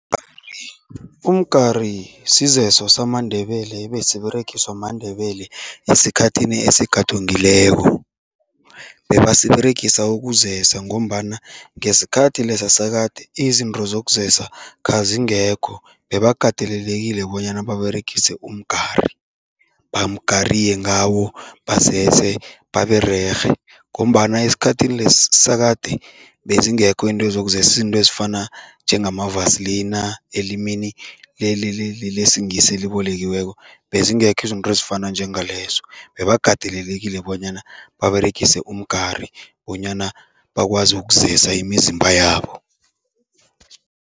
Umgari sizeso samaNdebele ebesiberegiswa maNdebele esikhathini esegadungileko. Bebasiberegisa ukuzesa ngombana ngesikhathi lesa sakade, izinto zokuzazisa khazingekho, bebakatelelekile bonyana baberegise umgari, bamgariye ngawo, bazese babererhe ngombana esikhathini lesi sakade bezingekho iinto zokuzesa, izinto ezifana njengamavasilina elimini lesiNgisi elibolekiweko, bezingekho izinto ezifana njengalezo. Bebakatelelekile bonyana baberegise umgari bonyana bakwazi ukuzesa imizimba yabo.